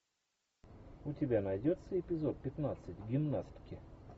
у тебя найдется эпизод пятнадцать гимнастки